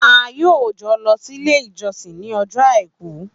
A yoo jọ lọ sílé ìjọsìn ni ọjọ àìkú